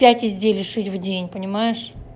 пять изделий шить в день понимаешь